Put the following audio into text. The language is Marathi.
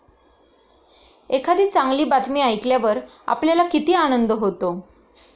एखादी चांगली बातमी ऐकल्यावर आपल्याला किती आनंद होतो!